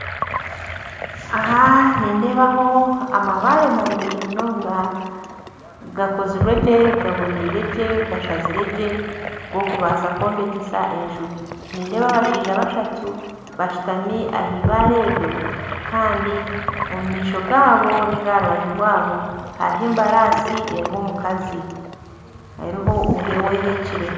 Aha nindebaho amabaare marungi munonga gakozirwegye gaboniiregye gashaziregye gokubasa kwombekyesa enju nindeeba abashaija bashatu bashutami ah'ibare eryo kandi omumaisho gabo ninga aharubaju rwabo hariho embarasi eriho omukazi eriho owehekire.